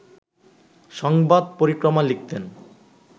সংবাদ পরিক্রমা লিখতেন